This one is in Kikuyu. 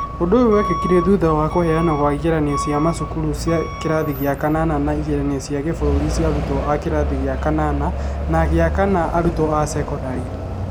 ũndũ ũyũ wekĩkire thutha wa kũheanwo kwa ĩgeranio cia macukuru cia kĩrathi gĩa kana na ĩgeranio cia kĩbũrũri cia arutwo a kĩrathi gĩa kanana na kĩa kana kĩa arutwo a cekondarĩ.